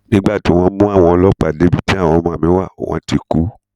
nígbà tí wọn mú àwọn ọlọpàá débi tí àwọn ọmọ mi wá wọn ti kú